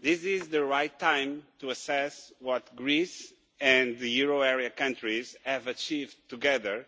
This is the right time to assess what Greece and the euro area countries have achieved together